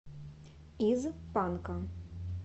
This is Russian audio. из панка